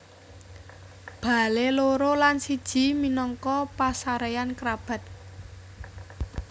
Bale loro lan siji minangka pasareyan kerabat